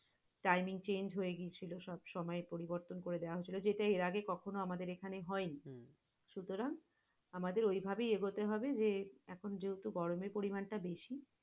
timeing change হয়ে গিয়েছিল। সবসময় পরিবর্তন করে দেয়া হয়েছিল যেহেতু এর আগে কখনো আমাদের এখানে হয়নি সুতারং আমাদের ওই ভাবেই হতে হবে যে, এখন যেহেতু গরমের পরিমাণ টা বেশি,